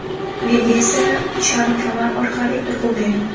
Belga esa charm kamar orqali urg‘u bering.